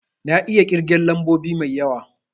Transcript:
Na iya kirgen lambobi mai yawa